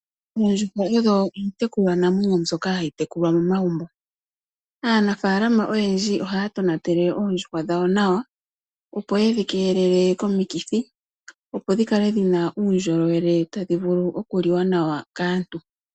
Oondjuhwa odho iitekulwa namwenyo mbyoka hayi tekulwa momagumbo. Aanafalama oyendji ohaa tonatele oondjuhwa dhawo nawa, opo yedhi keelele komikithi, opo dhikale dhina uundjolowele tadhi vulu okuliwa nawa kaantu.